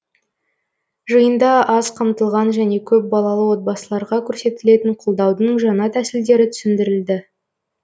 жиында аз қамтылған және көпбалалы отбасыларға көрсетілетін қолдаудың жаңа тәсілдері түсіндірілді